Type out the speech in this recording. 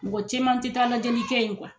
Mɔgɔ cɛman tɛ taa lajɛli kɛ in